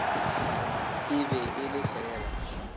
e be e le fela